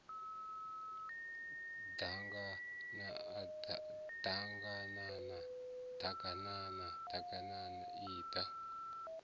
ḓaganana ḓ aganana ḓaganana iḓa